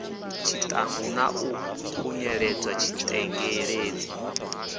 tshiṱangu na u khunyeledza tshitengeledzi